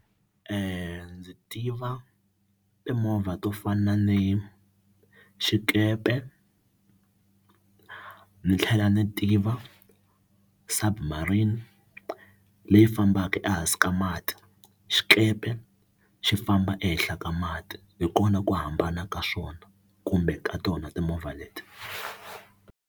Ndzi tiva timovha to fana ni xikepe ni tlhela ni tiva submarine hi leyi fambaka ehansi ka mati xikepe xi famba ehenhla ka mati hi kona ku hambana ka swona kumbe ka tona timovha leti.